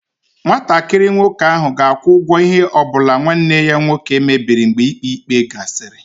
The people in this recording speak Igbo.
Nwatakịrị nwoke ahụ ga-akwụ ụgwọ ihe ọ bụla nwanne ya nwoke mebiri mgbe ikpe ikpe ya gasịrị.